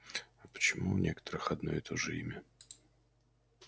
а почему у некоторых одно и то же имя